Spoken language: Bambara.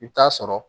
I bɛ taa sɔrɔ